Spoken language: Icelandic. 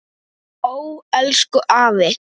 Ó, elsku afi.